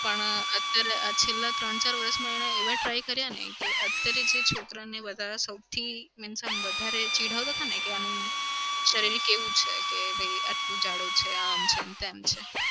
પણ અત્યારે આ છેલ્લા ત્રણ-ચાર વરસમાં એને એવા try કર્યાને કે અત્યારે જે છોકરાને વધારે સૌથી means આમ વધારે ચીડવતાને કે આનું શરીર કેવું છે કે ભઈ આટલો જાડો છે આમ છે તેમ છે.